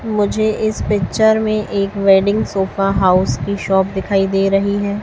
मुझे इस पिक्चर में एक वेडिंग सोफा हाउस की शॉप दिखाई दे रही है।